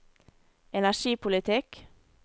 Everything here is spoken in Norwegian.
energipolitikk